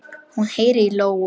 Hún heyrir í lóu.